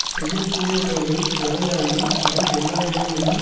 செய்ய கூடிய செயல்கள் எவை ஆயினும் அவை எல்லா இடங்களிலும்